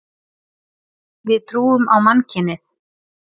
Við trúum á mannkynið.